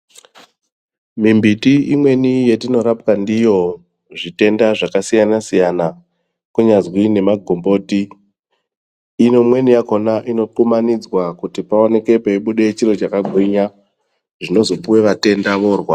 Mimbiti imweni yatinorapwa ndiyo zvitenda zvakasiyana-siyana ,kunyazwi nemagomboti .Imweni yachona inokumanidzwa kuti paoneke peibude chiro chakagwinya, zvinozopuwa vatenda voorwara.